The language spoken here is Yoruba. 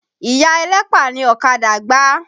Ìya ẹlẹ́pà ni ọ̀kadà gbá.